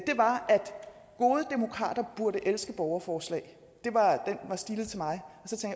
gode demokrater burde elske borgerforslag den var stilet til mig